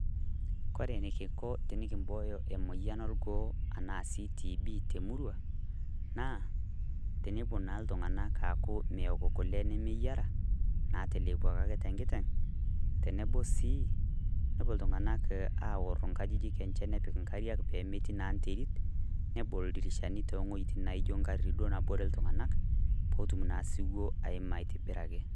Kore nikinko abooyo emoyian orgoo anaa sii TB te muruua, naa tenepoo naa ltung'anak aaku meeko nkulee nemeyaraa nateleboki ake te nkiteng' teneboo sii nepoo ltung'anak aorr nakjijik enchee, nepiik nkaariak pee meeti naa nteerit, nebool ldirishani te ng'ojitin naijo nkatitin doo naboore ltung'anak pee otum na suwuo aimaa aitibiraki.